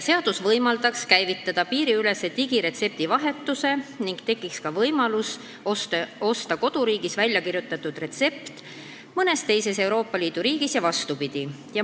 Seadus võimaldaks käivitada piiriülese digiretsepti vahetuse: tekiks võimalus osta koduriigis välja kirjutatud retseptiga ravimeid ka mõnes teises Euroopa Liidu riigis ja vastupidi.